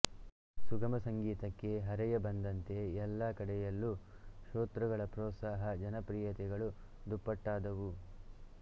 ಸುಗಮ ಸಂಗೀತಕ್ಕೆ ಹರೆಯ ಬಂದಂತೆ ಎಲ್ಲ ಕಡೆಯಲ್ಲೂ ಶ್ರೋತೃಗಳ ಪ್ರೋತ್ಸಾಹ ಜನಪ್ರಿಯತೆಗಳು ದುಪ್ಪಟ್ಟಾದವು